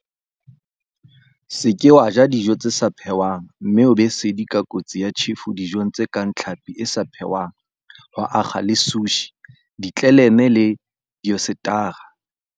Se ke wa ja dijo tse sa phehwang mme o be sedi ka kotsi ya tjhefo dijong tse kang tlhapi e sa phehwang ho akga le sushi, ditleleme le dioyesetara.